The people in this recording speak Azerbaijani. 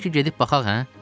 Bəlkə gedib baxaq, hə?